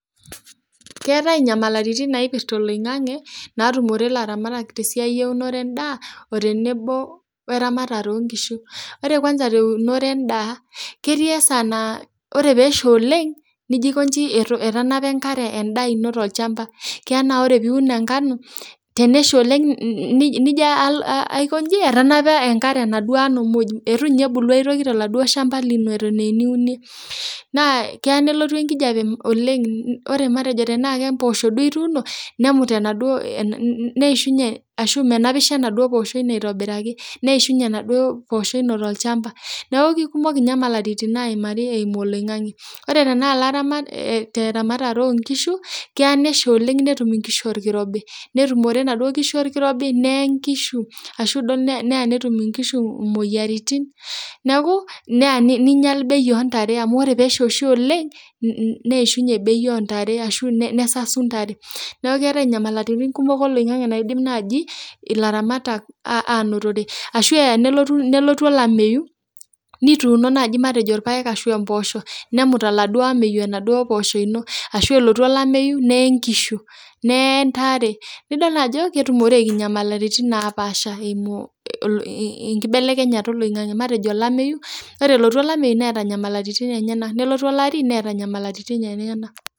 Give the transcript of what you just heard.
Keatae inyamaliritin naipirta oloing'ang'e naatumore laramatak te siai eunore endaa otenebo oramatare onkishu, ore kwansa te unore endaa, ketii esaa naa ore peesha oleng nejinkonji etanapa enkare indaa ino te ilchamba, tenaa ore piun enkanu tenesha oleng nijo alo aikonji etanapa enkare enaduo aanu muuj, etu ninye ebulu aitoki te naduo ilchamba lino eton euini, naa keya nelotu enkijepe oleng, ore matejo tenaa imposho duo ituuno nemut enaduo, neishunye ashu menapisho enaduo poosho ino aitobiraki, neishumye enaduo poosho ino tp ilchamba, naa kekumok ninye inyamaliritin naimari eimu oloing'ang'e, ore tanaa laramatak loo inkishu keya nesha oleng netum inkishu nkirobi netumore enaduo nkishu lkirobi neeei inkishu ashu duo neya netum inkishu imoyiaritin, naaku neya neinyal bei oontare amu ore tenesha oshi oleng neishunye bei oontare ashu nesasu intare, naaku leave inyamaliritin kumok oloing'ang'e naidim naaji ilatamatak anotore ashu eya nelotu olameiyu nituuno naji orpaek ashu imposho nemut eladuo ameiyu eladuo imposho lino ashu elotu olameiyu need inkishu, neei intare nidol ketumoreki inyamaliritin napaasha eimu inkibelekenyata eloing'ang'e, matejo lameiyu, ore elotu olameiyu neata inyamaliritin enyena, nelotu illari neeta inyamaliritin enyena.